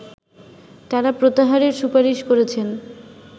তারা প্রত্যাহারের সুপারিশ করেছেন